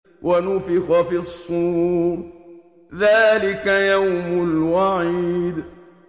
وَنُفِخَ فِي الصُّورِ ۚ ذَٰلِكَ يَوْمُ الْوَعِيدِ